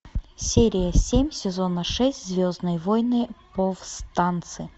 серия семь сезона шесть звездные войны повстанцы